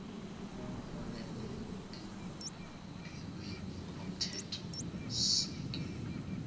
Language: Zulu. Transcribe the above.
uholele elungelweni lomthethosisekelo